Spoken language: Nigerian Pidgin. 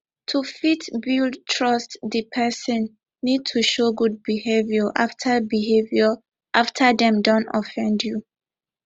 to fit build trust di person need to show good behaviour after behaviour after dem don offend you